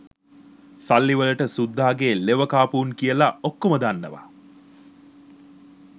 සල්ලි වලට සුද්දාගේ ලෙවකාපු උන් කියලා ඔක්කෝම දන්නවා